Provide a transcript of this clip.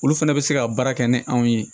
Olu fana bɛ se ka baara kɛ ni anw ye